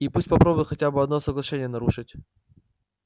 и пусть попробует хотя бы одно соглашение нарушить